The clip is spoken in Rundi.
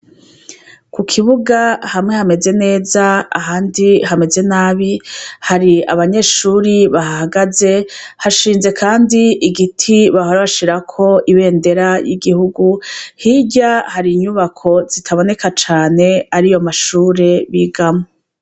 kukibuga hamwe hameze neza , ahandi hameze nabi, hari abanyeshuri bahahagaze, hashinze kandi igiti bahora bashirako ibendera y'igihugu , hirya hari inyubako zitaboneka cane ariyo mashure bigamwo.